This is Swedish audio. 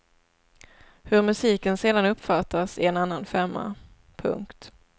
Hur musiken sedan uppfattas är en annan femma. punkt